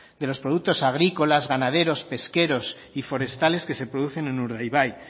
de los productos agrícolas ganaderos pesqueros y forestales que se producen en urdaibai